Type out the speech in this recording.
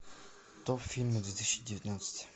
топ фильмы две тысячи девятнадцать